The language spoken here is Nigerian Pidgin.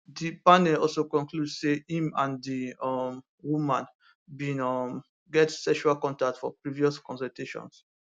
di panel also conclude say im and di um woman bin um get sexual contact for previous consultations